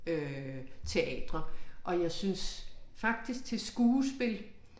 Øh teatre og jeg synes faktisk til skuespil